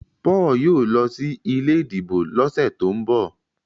Paul yóò ló sí ilé ìdìbò ló sẹ to'n bọ